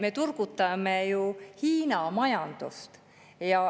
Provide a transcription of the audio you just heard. Me turgutame ju Hiina majandust.